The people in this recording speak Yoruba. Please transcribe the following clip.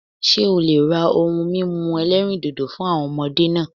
Ṣé o le ra ohun mímu ẹlẹ́rìndòdò fún àwọn ọmọdé náà